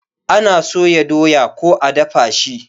Ana soya doya ko a dafa shi